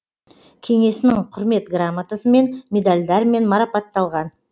кеңесінің құрмет грамотасымен медальдармен марапатталған